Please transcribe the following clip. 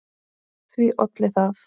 Því olli það